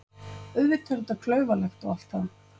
Auðvitað er þetta klaufalegt og allt það.